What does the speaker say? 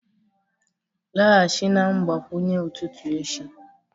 laghachi na mgbakwunye ụtụtụ echi